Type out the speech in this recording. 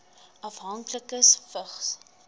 afhanklikes vigs